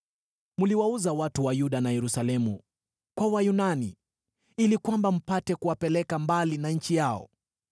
Mliwauza watu wa Yuda na Yerusalemu kwa Wayunani, ili kwamba mpate kuwapeleka mbali na nchi yao.